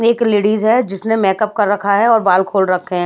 एक लेडीज़ है जिसने मैकप कर रखा है और बाल खोल रखे हैं।